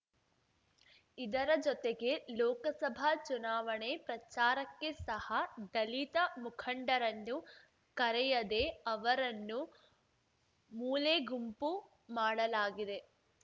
ಇದರ ಜೊತೆಗೆ ಲೋಕಸಭಾ ಚುನಾವಣೆ ಪ್ರಚಾರಕ್ಕೆ ಸಹ ದಲಿತ ಮುಖಂಡರನ್ನು ಕರೆಯದೆ ಅವರನ್ನು ಮೂಲೆಗುಂಪು ಮಾಡಲಾಗಿದೆ